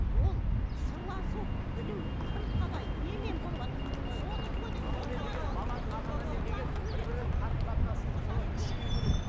ол сырласу білу кім қалай немен болыватыр бір бірімен қарым қатынасын солай күшею керек